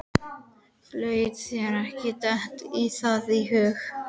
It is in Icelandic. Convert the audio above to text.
Láttu þér ekki detta það í hug.